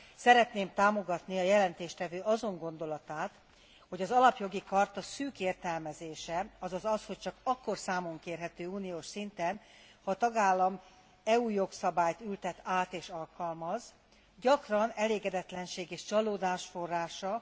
Szeretném támogatni a jelentéstevő azon gondolatát, hogy az alapjogi charta szűk értelmezése, azaz az, hogy csak akkor számonkérhető uniós szinten, ha a tagállam EU jogszabályt ültet át és alkalmaz, gyakran elégedetlenség és csalódás forrása.